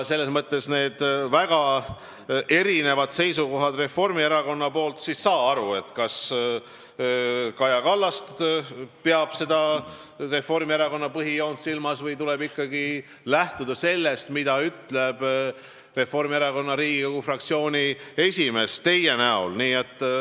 Selles mõttes on Reformierakonnal väga erinevad seisukohad ning saa siis aru, kas Kaja Kallas peab Reformierakonna põhijoont silmas või tuleb ikkagi lähtuda sellest, mida ütleb Reformierakonna Riigikogu fraktsiooni esimees teie näol.